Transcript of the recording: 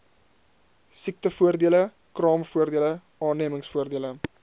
siektevoordele kraamvoordele aannemingsvoordele